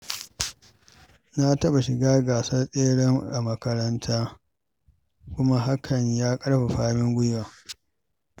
Na taɓa shiga gasar tsere a makaranta, kuma hakan ya ƙarfafa min gwiwa.